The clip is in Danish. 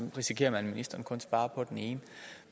risikerer man at ministeren kun svarer på den ene